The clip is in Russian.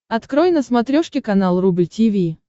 открой на смотрешке канал рубль ти ви